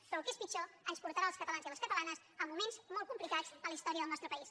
però el que és pitjor ens portarà als catalans i a les catalanes a moments molt complicats en la història del nostre país